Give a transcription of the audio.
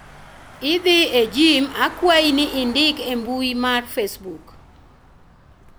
idhi e jim akwayi ni indik e mbui mar facebook